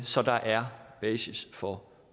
så der er basis for